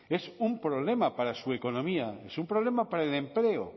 es un problema para su economía es un problema para el empleo